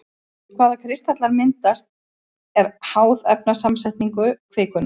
Hvaða kristallar myndast er háð efnasamsetningu kvikunnar.